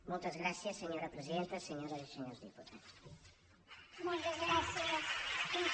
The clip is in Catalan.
moltes gràcies senyora presidenta senyores i senyors diputats